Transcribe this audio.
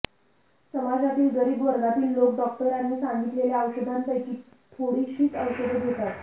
समाजातील गरीब वर्गातील लोक डॉक्टरांनी सांगितलेल्या औषधांपैकी थोडीशीच औषधे घेतात